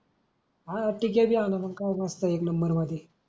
हा तीक्या बी अनू मंग खाऊ मस्त भाजी.